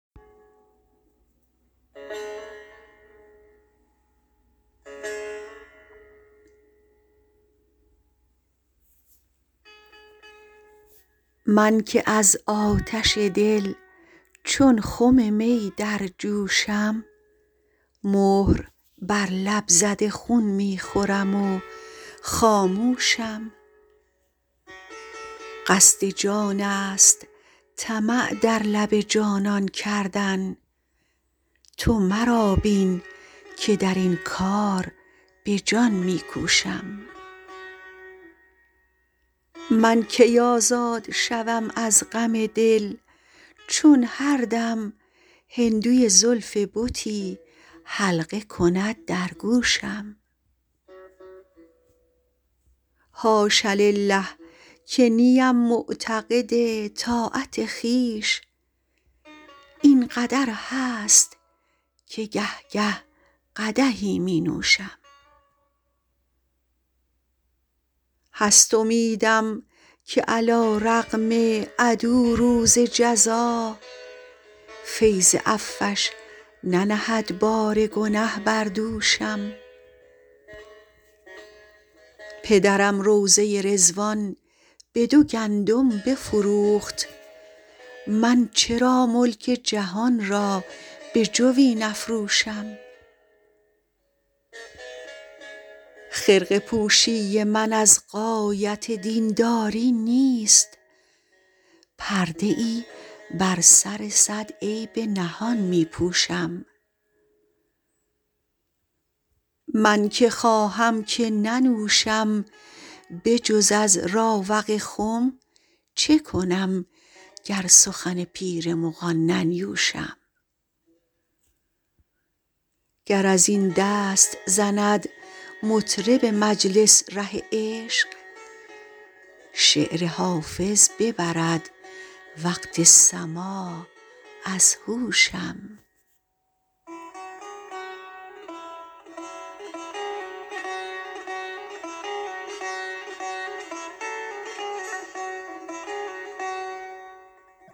من که از آتش دل چون خم می در جوشم مهر بر لب زده خون می خورم و خاموشم قصد جان است طمع در لب جانان کردن تو مرا بین که در این کار به جان می کوشم من کی آزاد شوم از غم دل چون هر دم هندوی زلف بتی حلقه کند در گوشم حاش لله که نیم معتقد طاعت خویش این قدر هست که گه گه قدحی می نوشم هست امیدم که علیرغم عدو روز جزا فیض عفوش ننهد بار گنه بر دوشم پدرم روضه رضوان به دو گندم بفروخت من چرا ملک جهان را به جوی نفروشم خرقه پوشی من از غایت دین داری نیست پرده ای بر سر صد عیب نهان می پوشم من که خواهم که ننوشم به جز از راوق خم چه کنم گر سخن پیر مغان ننیوشم گر از این دست زند مطرب مجلس ره عشق شعر حافظ ببرد وقت سماع از هوشم